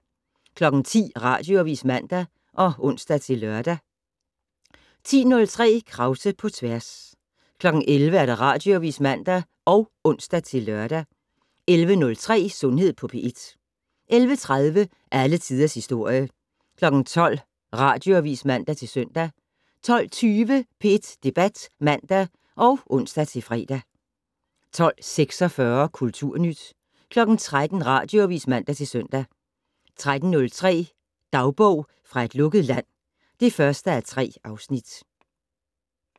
10:00: Radioavis (man og ons-lør) 10:03: Krause på tværs 11:00: Radioavis (man og ons-lør) 11:03: Sundhed på P1 11:30: Alle Tiders Historie 12:00: Radioavis (man-søn) 12:20: P1 Debat (man og ons-fre) 12:46: Kulturnyt 13:00: Radioavis (man-søn) 13:03: Dagbog fra et lukket land (1:3)